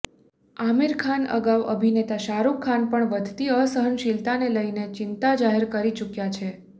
આમિર ખાન અગાઉ અભિનેતા શાહરૂખ ખાન પણ વધતી અસહનશીલતાને લઈને ચિંતા જાહેર કરી ચુક્યા છે